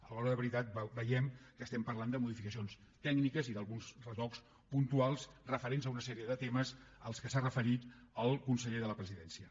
a l’hora de la veritat veiem que estem parlant de modificacions tècniques i d’alguns retocs puntuals referents a una sèrie de temes a què s’ha referit el conseller de la presidència